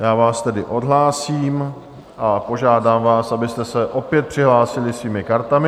Já vás tedy odhlásím a požádám vás, abyste se opět přihlásili svými kartami.